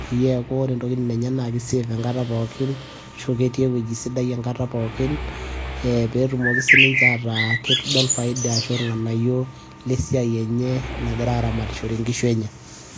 peyie eeku ore ntokitin pookin enye naa ki safe enkata pookin, ashu ketii ewueji sidai enkata pookin, pee etumoki sii ninche ataa kedol ashu irnganayio lesiai enye nagira aaramatishore nkishu enye.